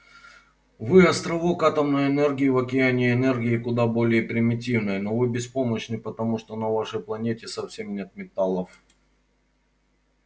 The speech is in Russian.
вы островок атомной энергии в океане энергии куда более примитивной но вы беспомощны потому что на вашей планете совсем нет металлов